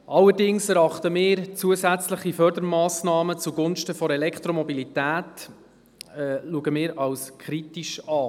Allerdings erachten wir zusätzliche Fördermassnahmen zugunsten der Elektromobilität als kritisch.